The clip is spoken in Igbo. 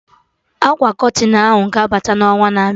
Akwa Kọtịn ahụ ga-abata n'ọnwa na-abịa